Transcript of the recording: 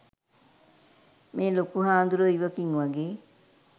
මේ ලොකු හාමුදුරුවෝ ඉවකින් වගේ